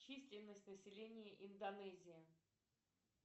численность населения индонезии